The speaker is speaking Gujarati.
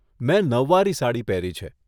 મેં નવવારી સાડી પહેરી છે.